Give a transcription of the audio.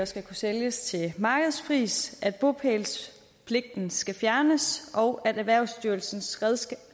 skal kunne sælges til markedspris at bopælspligten skal fjernes og at erhvervsstyrelsens